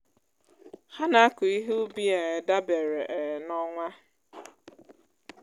ha na-akụ ihe ubi um dabere um na ọnwa.